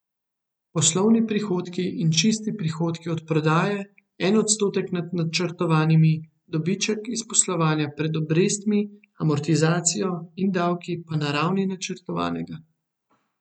Poslovni prihodki in čisti prihodki od prodaje en odstotek nad načrtovanimi, dobiček iz poslovanja pred obrestmi, amortizacijo in davki pa na ravni načrtovanega.